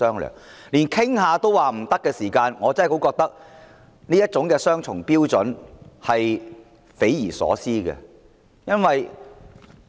若說連商討也不可以，我認為這種雙重標準是匪夷所思的。